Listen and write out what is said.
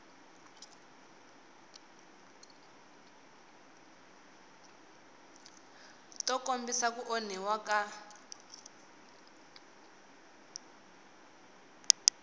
to kombisa ku onhiwa ka